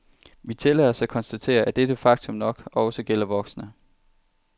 Vi tillader os at konstatere, at dette faktum nok også gælder voksne.